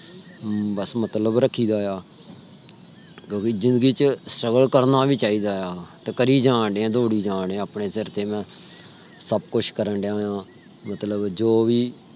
ਬਸ ਮਤਲਬ ਰੱਖੀ ਦਾ ਆ। ਕਿਓਂਕਿ ਜ਼ਿੰਦਗੀ ਚ ਸਬਰ ਕਰਨਾਵੀ ਚਾਹੀਦਾ ਆ। ਤੇ ਕਰਿ ਜਾਣਡੇਆਂ ਦੌੜ੍ਹੀ ਜਾਣਡੇਆਂ ਆਪਣੇ ਸਿਰ ਤੇ ਸਬ ਕੁਛ ਕਰਨ ਡੇਆਂ। ਮਤਲਬ ਜੋ ਵੀ।